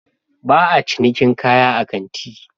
Ba a cinikin kaya a kanti